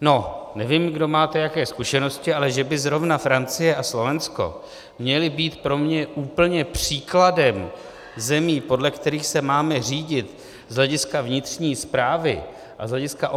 No, nevím, kdo jaké máte zkušenosti, ale že by zrovna Francie a Slovensko měly být pro mě úplně příkladem zemí, podle kterých se máme řídit z hlediska vnitřní správy a z hlediska